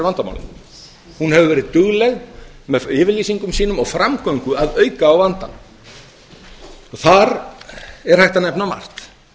vandamálin hún hefur verið dugleg með yfirlýsingum sínum og framgöngu að auka á vandann þar er hægt að nefna margt